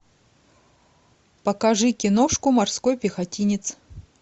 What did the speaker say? покажи киношку морской пехотинец